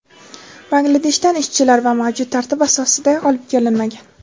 Bangladeshdan ishchilar mavjud tartib asosida olib kelinmagan.